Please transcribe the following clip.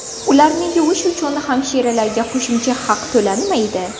Ularni yuvish uchun hamshiralarga qo‘shimcha haq to‘lanmaydi.